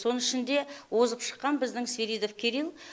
соның ішінде озып шыққан біздің свиридов кирилл